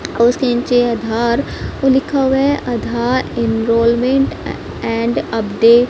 उसके निचे अधार लिखा हुआ है अधार इनरोलमेंट एंड अपडे--